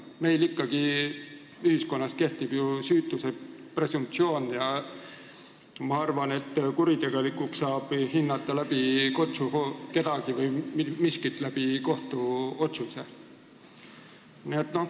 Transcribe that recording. Meie ühiskonnas kehtib ikkagi süütuse presumptsioon ja ma arvan, et kuritegelikuks saab mingi teo hinnata vaid kohtuotsusega.